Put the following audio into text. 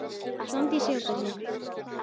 Svandís játar því.